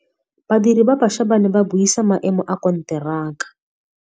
Badiri ba baša ba ne ba buisa maêmô a konteraka.